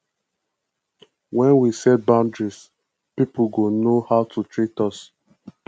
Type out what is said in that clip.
when we set boundaries pipo go know how to treat us